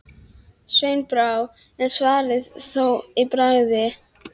Sveini brá, en svaraði þó að bragði: